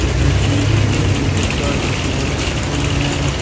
इसमें कि कितने प्रकार की सामान रखे हुए हैं।